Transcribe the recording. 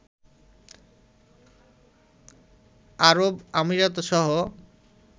আরব আমিরাতসহ